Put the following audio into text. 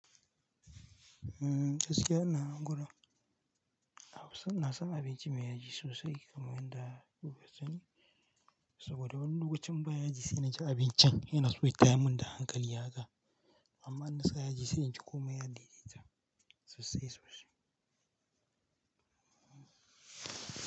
Eh gaskiya ana gudu. Hausa na san abinci mai yaji sosai kamar yadda lokacin, saboda wani lokacin baya ji sai naci abincin yana so ya yi tayamin da hankali haka. Amma in na sa yaji sai inji komai ya dai dai ta sosai sosai.